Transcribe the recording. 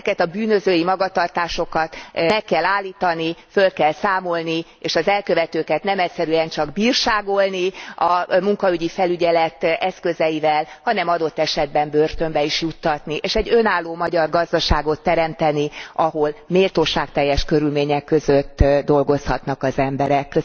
Ezeket a bűnözői magatartásokat meg kell állítani, föl kell számolni és az elkövetőket nem egyszerűen csak bírságolni a munkaügyi felügyelet eszközeivel, hanem adott esetben börtönbe is juttatni, és egy önálló magyar gazdaságot teremteni, ahol méltóságteljes körülmények között dolgozhatnak az emberek.